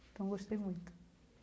Então gostei muito.